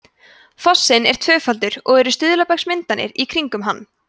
fossinn er tvöfaldur og eru stuðlabergsmyndanir í kringum hann